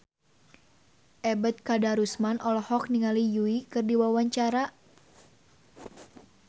Ebet Kadarusman olohok ningali Yui keur diwawancara